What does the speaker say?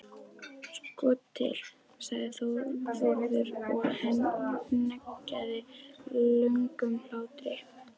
Sko til, sagði Þórður og hneggjaði löngum hlátri.